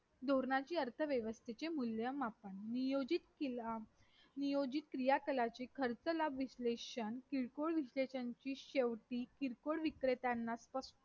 धोरणाची अर्थव्यवसाची मूल्यमापन नियोजित क्रियाकला खर्च लाभ विशलेषण किरकोळ विशलेषणचे शेवटी किरकोळ विक्रेत्यांना